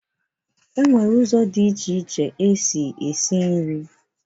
E nwere ụzọ dị iche iche esi eshi nri